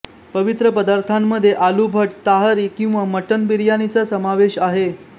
पवित्र पदार्थांमध्ये आलू भट ताहरी किंवा मटण बिर्याणीचा समावेश आहे